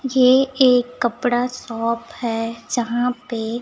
ये एक कपड़ा शॉप है जहां पे--